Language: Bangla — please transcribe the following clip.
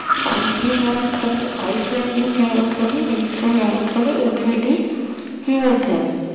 আলটি হিমদ্রোণী ঐশোনি হিমদ্রোণী বিশ্ব হিমদ্রোণী এগুলো হিমদ্রোণী